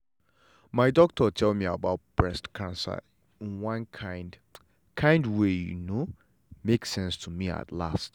my doctor tell me about breast cancer in one kind kind way you know make sense to me at last.